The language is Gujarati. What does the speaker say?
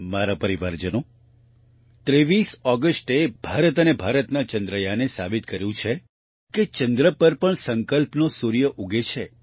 મારા પરિવારજનો 23 ઓગસ્ટે ભારત અને ભારતના ચંદ્રયાન એ સાબિત કર્યું છે કે ચંદ્ર પર પણ સંકલ્પનો સૂર્ય ઉગે છે